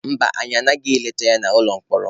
Mba, anyị agabeghị leta ya n'ụlọ mkpọrọ.